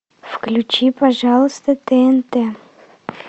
включи пожалуйста тнт